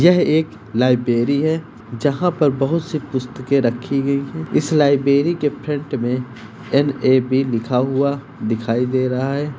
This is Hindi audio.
यह एक लाइब्रेरी है जहां पे बहुत सी पुस्तके रखी गई है इस लाइब्रेरी के फ्रंट में एन ए बी लिखा हुआ दिखाई दे रहा है।